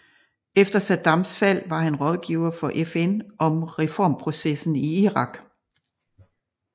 Efter Saddams fald var han rådgiver for FN om reformprocessen i Irak